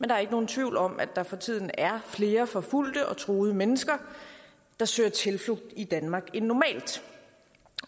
der er ikke nogen tvivl om at der for tiden er flere forfulgte og truede mennesker der søger tilflugt i danmark end normalt